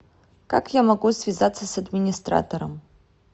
как я могу связаться с администратором